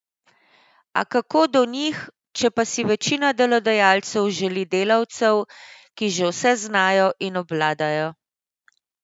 A kako do njih, če pa si večina delodajalcev želi delavcev, ki že vse znajo in obvladajo?